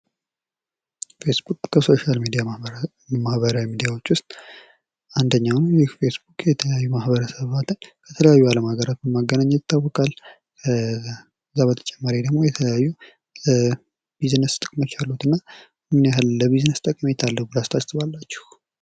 ፌስቡክ ከሶሻል ሚዲያ ማህበራዊ ሚዲያዎች ውስጥ አንደኛው ነው። ፌስቡክ የተለያዩ ማህበረሰባትን በተለያዩ የአለም ሃገራት በማገናኘት ይታወቃል። ከዛ በተጨማሪ ደሞ የተለያዩ ቢዝነስ ጥቅሞች አሉት እና ምን ያህል ለቢዝነስ ጠቀሜታ አለው ብላችሁ ታስባላችሁ?